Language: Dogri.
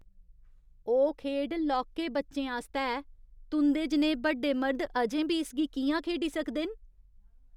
ओह् खेढ लौह्के बच्चें आस्तै ऐ। तुं'दे जनेह् बड्डे मर्द अजें बी इसगी कि'यां खेढी सकदे न?